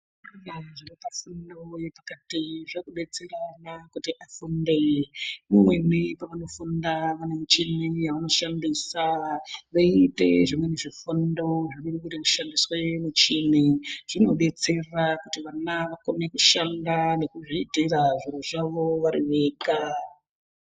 Zvakudetsera ana kuti afunde. Imweni pavanofunda vane muchini yavanoshandisa. Voita zvimweni zvifundo zvinoshandisa muchini. Zvinobetsera kuti vana vakone kushanda nekuzviitira zviro zvavo vari vega.